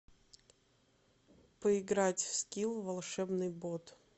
поиграть в скил волшебный бот